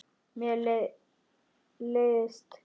Mér leiðist gremja þín.